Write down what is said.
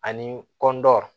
Ani kɔndɔ